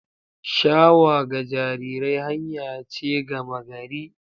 Shawa ga jarirai hanya ce gama gari